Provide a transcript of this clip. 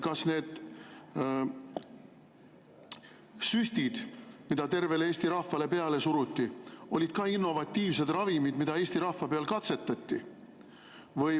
Kas need süstid, mida tervele Eesti rahvale peale suruti, olid ka innovatiivsed ravimid, mida Eesti rahva peal katsetati?